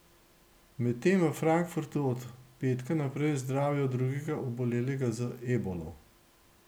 Medtem v Frankfurtu od petka naprej zdravijo drugega obolelega z ebolo.